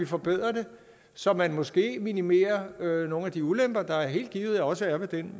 forbedre det så man måske minimerer nogle af de ulemper der helt givet også er ved den